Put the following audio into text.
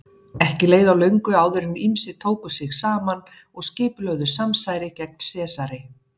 Ekki leið á löngu áður en ýmsir tóku sig saman og skipulögðu samsæri gegn Sesari.